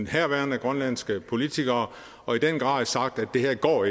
herværende grønlandske politikere og i den grad sagt at det her ikke går